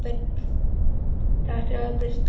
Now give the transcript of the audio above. Þrjár í stað Berglindar